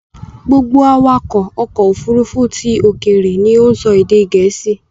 Gbogbo awakọ̀ ọkọ̀ Òfurufú ti òkèèrè ni ó ń sọ èdè Gèésì